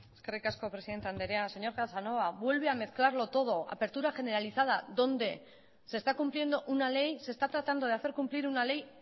eskerrik asko presidente andrea señor casanova vuelve a mezclarlo todo apertura generalizada dónde se está cumpliendo una ley se está tratando de hacer cumplir una ley